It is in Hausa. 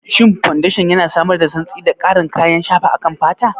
Shin fodeshan yana samar da santsi da ƙarin kayan shafa akan fata?